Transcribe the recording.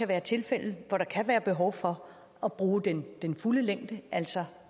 være tilfælde hvor der kan være behov for at bruge den den fulde længde altså